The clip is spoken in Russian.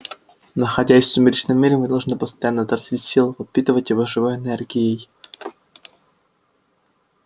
находясь в сумеречном мире мы должны постоянно тратить силы подпитывать его живой энергией